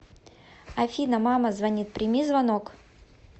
афина мама звонит прими звонок